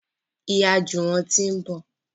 Ìyá Juwon tí ń bọ